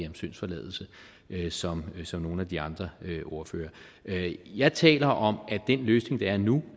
om syndsforladelse som som nogle af de andre ordførere jeg taler om at den løsning der er nu